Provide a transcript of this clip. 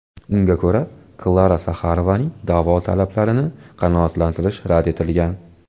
Unga ko‘ra, Klara Saxarovaning da’vo talablarini qanoatlantirish rad etilgan.